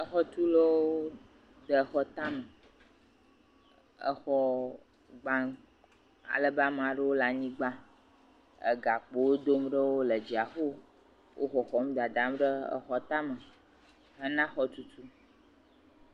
Exɔtulawo de xɔ tame, exɔ gbam alebe amea ɖewo le anyigba. Egakpowo dam ɖo le dziaƒo. Wo xɔxɔm dadam ɖe exɔ tame hena xɔtutu.